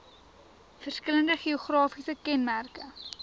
verskillende geografiese kenmerke